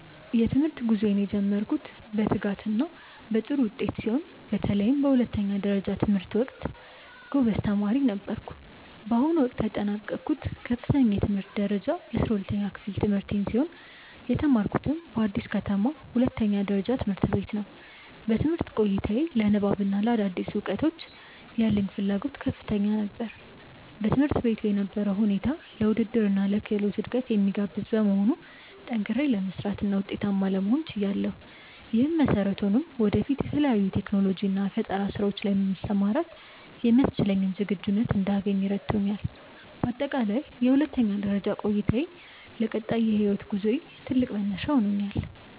የትምህርት ጉዞዬን የጀመርኩት በትጋትና በጥሩ ውጤት ሲሆን፣ በተለይም በሁለተኛ ደረጃ ትምህርቴ ወቅት ጎበዝ ተማሪ ነበርኩ። በአሁኑ ወቅት ያጠናቀቅኩት ከፍተኛ የትምህርት ደረጃ የ12ኛ ክፍል ትምህርቴን ሲሆን፣ የተማርኩትም በአዲስ ከተማ ሁለተኛ ደረጃ ትምህርት ቤት ነው። በትምህርት ቆይታዬ ለንባብና ለአዳዲስ እውቀቶች ያለኝ ፍላጎት ከፍተኛ ነበር። በትምህርት ቤቱ የነበረው ሁኔታ ለውድድርና ለክህሎት እድገት የሚጋብዝ በመሆኑ፣ ጠንክሬ ለመስራትና ውጤታማ ለመሆን ችያለሁ። ይህም መሰረት ሆኖኝ ወደፊት በተለያዩ የቴክኖሎጂና የፈጠራ ስራዎች ላይ ለመሰማራት የሚያስችለኝን ዝግጁነት እንዳገኝ ረድቶኛል። በአጠቃላይ የሁለተኛ ደረጃ ቆይታዬ ለቀጣይ የህይወት ጉዞዬ ትልቅ መነሻ ሆኖኛል።